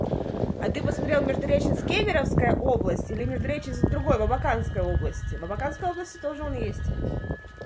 а ты посмотрел междуреченск кемеровская область или междуреченск в другой в абаканской области в абаканской области тоже он есть